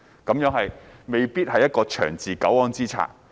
這未必是一個長治久安之策。